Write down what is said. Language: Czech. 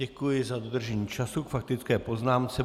Děkuji za dodržení času k faktické poznámce.